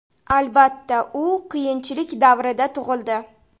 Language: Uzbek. Albatta, u qiyinchilik davrida tug‘ildi.